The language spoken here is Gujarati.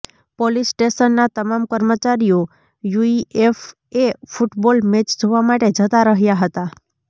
પોલિસસ્ટેશનના તમામ કર્મચારીઓ યુઇએફએ ફૂટબોલ મેચ જોવા માટે જતા રહ્યા હતા